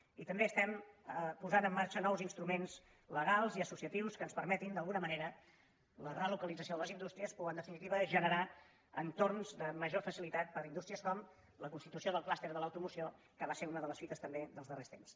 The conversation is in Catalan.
i també posem en marxa nous instruments legals i as·sociatius que ens permetin d’alguna manera la relo·calització de les indústries o en definitiva generar entorns de major facilitat per a indústries com la cons·titució del clúster de l’automoció que va ser una de les fites també dels darrers temps